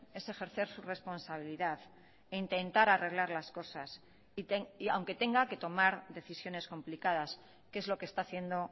es ejercer su responsabilidad e intentar arreglar las cosas aunque tenga que tomar decisiones complicadas que es lo que está haciendo